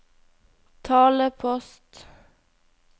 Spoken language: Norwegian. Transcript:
talepost